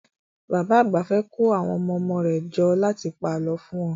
Bàbá àgbà fẹ́ kó àwọn ọmọ-ọmọ rẹ̀ jọ láti pa àlọ́ fún wọn